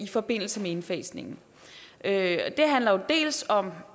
i forbindelse med indfasningen det handler dels om